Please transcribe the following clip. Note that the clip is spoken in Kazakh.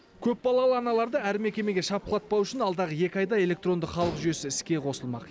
көпбалалы аналарды әр мекемеге шапқылатпау үшін алдағы екі айда электронды халық жүйесі іске қосылмақ